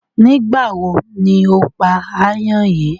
Nígbàwo ni o pá áyán yìí?